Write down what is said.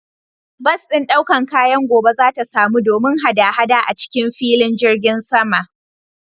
Bas ɗin ɗaukan kayan gobe zata samu domin hada-hada acikin filin jirgin saman.